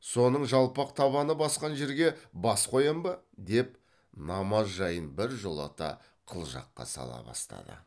соның жалпақ табаны басқан жерге бас қоям ба деп намаз жайын біржолата қылжаққа сала бастады